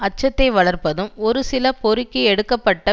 அச்சத்தை வளர்ப்பதும் ஒரு சில பொறுக்கி எடுக்க பட்ட